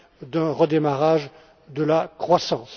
d'un redémarrage de la croissance.